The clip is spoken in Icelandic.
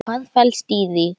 Hvað felst í því?